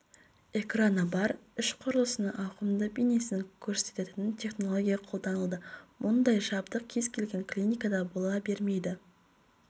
экраны бар іш құрылысының ауқымды бейнесін көрсететін технология қолданылды мұндай жабдық кез-келген клиникада бола бермейді мен